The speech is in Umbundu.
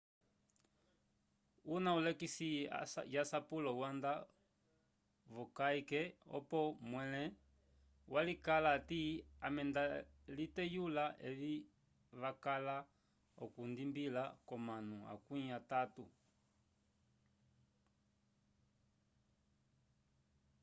una ulekisi yasapulo wanda vokayke opo mwele walikala ati ame daliteyula evi vakala okwidibila comanu akwi atatu